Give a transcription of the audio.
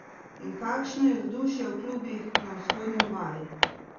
In kakšno je vzdušje v klubih na Vzhodni obali?